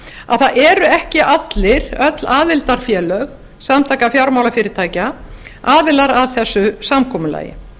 að það eru ekki öll aðildarfélög samtaka fjármálafyrirtækja aðilar að þessu samkomulagi